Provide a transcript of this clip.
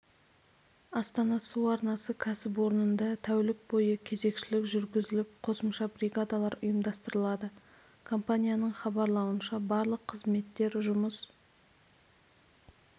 астана су арнасы кәсіпорнында тәулік бойы кезекшілік жүргізіліп қосымша бригадалар ұйымдастырылады компанияның хабарлауынша барлық қызметтер жұмыс